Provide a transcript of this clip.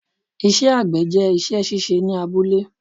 Ìṣẹ àgbẹ̀ jẹ́ isẹ́ síse ní abúlé